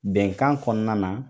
Bɛnkan kɔnɔna na